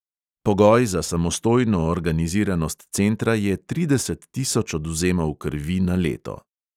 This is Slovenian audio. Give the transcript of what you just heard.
Pogoj za samostojno organiziranost centra je trideset tisoč odvzemov krvi na leto.